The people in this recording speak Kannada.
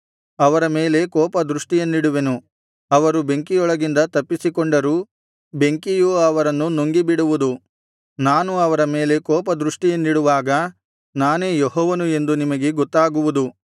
ಅವರ ಮೇಲೆ ಕೋಪ ದೃಷ್ಟಿಯನ್ನಿಡುವೆನು ಅವರು ಬೆಂಕಿಯೊಳಗಿಂದ ತಪ್ಪಿಸಿಕೊಂಡರೂ ಬೆಂಕಿಯು ಅವರನ್ನು ನುಂಗಿಬಿಡುವುದು ನಾನು ಅವರ ಮೇಲೆ ಕೋಪ ದೃಷ್ಟಿಯನ್ನಿಡುವಾಗ ನಾನೇ ಯೆಹೋವನು ಎಂದು ನಿಮಗೆ ಗೊತ್ತಾಗುವುದು